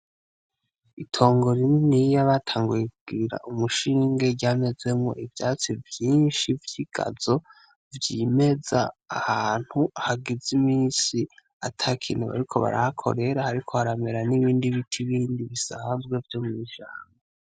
Itongo rininiya batanguye kugirira umushinge vyamezemwo ivyatsi vyinshi vy’igazo vyimeza ahantu hagize imisi atakintu bariko barahakorera hariko haramera n’ibindi biti bindi bisanzwe vyo mw’ishamba.